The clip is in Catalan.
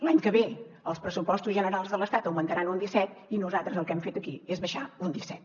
l’any que ve els pressupostos generals de l’estat augmentaran un disset i nosaltres el que hem fet aquí és baixar un disset